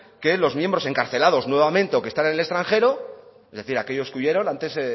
que los miembros encarcelados nuevamente o que están en el extranjero es decir aquellos que huyeron